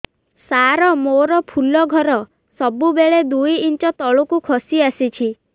ସାର ମୋର ଫୁଲ ଘର ସବୁ ବେଳେ ଦୁଇ ଇଞ୍ଚ ତଳକୁ ଖସି ଆସିଛି